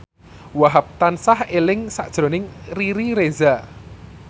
Wahhab tansah eling sakjroning Riri Reza